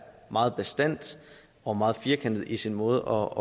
meget bastant og meget firkantet i sin måde